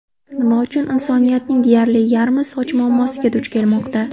Nima uchun insoniyatning deyarli yarmi soch muammosiga duch kelmoqda?